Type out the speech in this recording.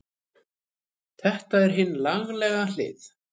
Þetta er hin lagalega hlið.